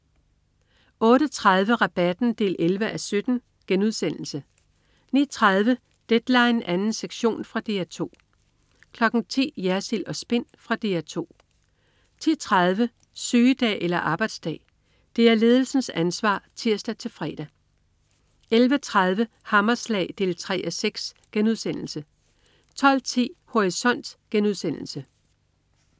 08.30 Rabatten 11:17* 09.30 Deadline 2. sektion. Fra DR 2 10.00 Jersild & Spin. Fra DR 2 10.30 Sygedag eller arbejdsdag?. Det er ledelsens ansvar (tirs-fre) 11.30 Hammerslag 3:6* 12.10 Horisont*